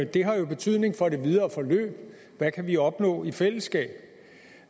det har jo betydning for det videre forløb hvad kan vi opnå i fællesskab